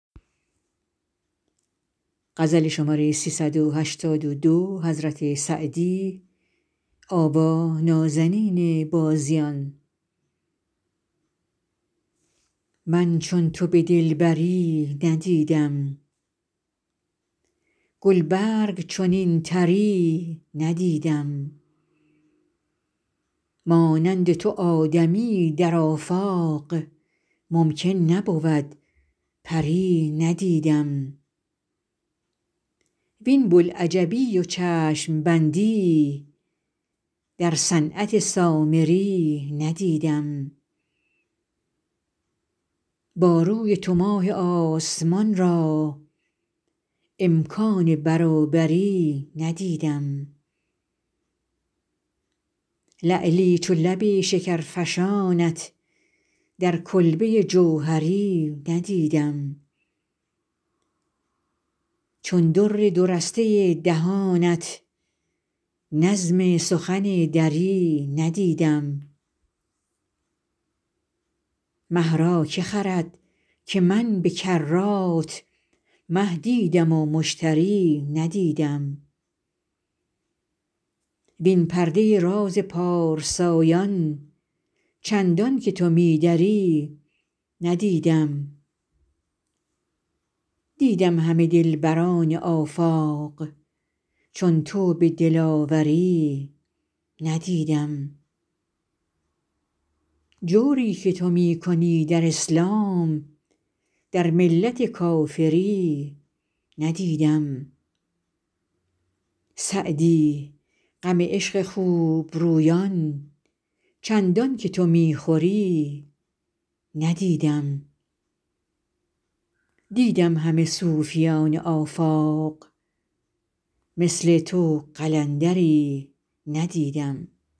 من چون تو به دلبری ندیدم گل برگ چنین طری ندیدم مانند تو آدمی در آفاق ممکن نبود پری ندیدم وین بوالعجبی و چشم بندی در صنعت سامری ندیدم با روی تو ماه آسمان را امکان برابری ندیدم لعلی چو لب شکرفشانت در کلبه جوهری ندیدم چون در دو رسته دهانت نظم سخن دری ندیدم مه را که خرد که من به کرات مه دیدم و مشتری ندیدم وین پرده راز پارسایان چندان که تو می دری ندیدم دیدم همه دلبران آفاق چون تو به دلاوری ندیدم جوری که تو می کنی در اسلام در ملت کافری ندیدم سعدی غم عشق خوب رویان چندان که تو می خوری ندیدم دیدم همه صوفیان آفاق مثل تو قلندری ندیدم